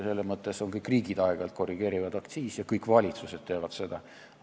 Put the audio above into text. Selles mõttes kõik riigid aeg-ajalt korrigeerivad aktsiise ja kõik valitsused teevad seda.